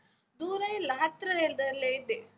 ದೂರ ಇಲ್ಲ, ಹತ್ರವೇದಲ್ಲೇ ಇದೆ.